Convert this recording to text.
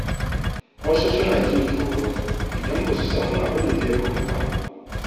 Wasu suna jin tsoro idan ba su san abin da zai faru ba.